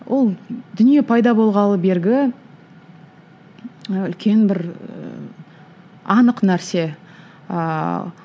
ол дүние пайда болғалы бергі үлкен бір ііі анық нәрсе ыыы